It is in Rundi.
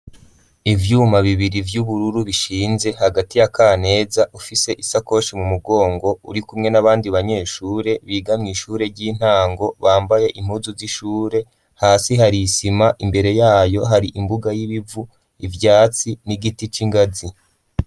Ivyyuma bibiri vy'ubururu bishinze hagati ya kaneza ufise isakoshi mu mugongo uri kumwe n'abandi banyeshure bigamwe ishure ry'intango bambaye inpuzu z'ishure hasi hari ishima imbere yayo hari imbuga y'ibivu ivyatsi n'igiti c'ingazi.